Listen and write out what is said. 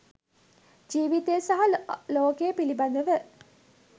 ජීවිතය සහ ලෝකය පිළිබඳව